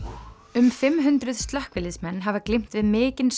um fimm hundruð slökkviliðsmenn hafa glímt við mikinn